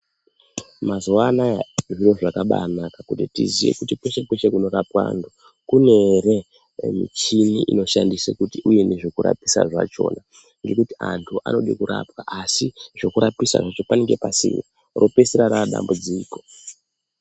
Mazuva anaya zviro zvakabaanaka kuti tiziye kuti kweshe-kweshe kunorapwa antu kune here michini inoshandise kuti uye nezvekurapisa zvachona. Ngekuti antu anode kurapwa asi zvekurapisa zvacho panenge pasina. Ropeisira raadambudziko.